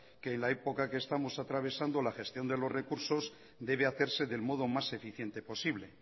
que en la época que estamos atravesando la gestión de los recursos debe hacerse del modo más eficiente posible